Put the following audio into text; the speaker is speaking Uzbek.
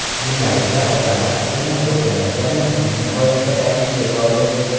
Jurnalistlar odamlar fikrini o‘rganayotgani uni nihoyatda tashvishga soldi.